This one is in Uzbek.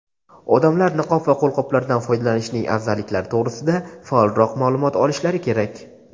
odamlar niqob va qo‘lqoplardan foydalanishning afzalliklari to‘g‘risida faolroq ma’lumot olishlari kerak.